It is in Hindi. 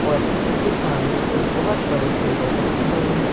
और उनके सामने एक बहोत बड़े टेबल रखे हुएं हैं।